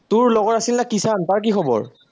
তোৰ লগৰ আছিল না কিষাণ, তাৰ কি খবৰ?